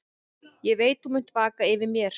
Ég veit þú munt vaka yfir mér.